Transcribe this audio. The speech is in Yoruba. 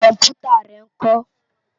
Kòmpútá rè nkò?